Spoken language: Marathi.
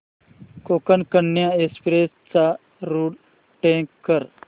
कोकण कन्या एक्सप्रेस चा रूट ट्रॅक कर